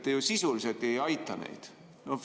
Te ju sisuliselt ei aita neid.